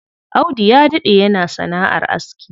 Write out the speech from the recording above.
Audu ya daɗe yana sana'ar aski.